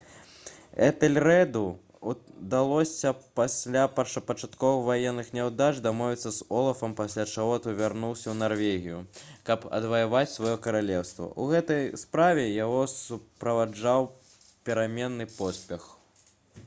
этэльрэду ўдалося пасля першапачатковых ваенных няўдач дамовіцца з олафам пасля чаго той вярнуўся ў нарвегію каб адваяваць сваё каралеўства у гэтай справе яго суправаджаў пераменны поспех